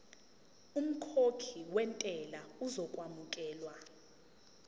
umkhokhi wentela uzokwamukelwa